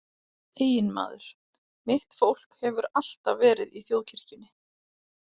Eiginmaður: Mitt fólk hefur alltaf verið í þjóðkirkjunni.